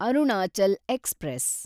Arunachal express